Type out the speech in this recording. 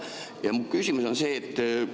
Ja mu küsimus on see.